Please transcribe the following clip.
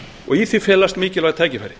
og í því felast mikilvæg tækifæri